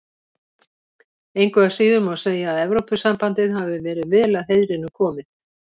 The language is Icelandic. Engu að síður má segja að Evrópusambandið hafi verið vel að heiðrinum komið.